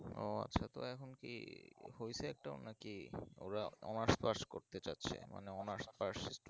ও আচ্ছা তো এখন কি হয়েছে একটাও না কি ওরা honours pass করতে চাচ্ছে মানে honours passed student